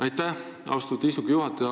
Aitäh, austatud istungi juhataja!